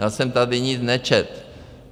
Já jsem tady nic nečetl.